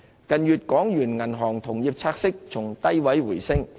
港元銀行同業拆息近月從低位回升。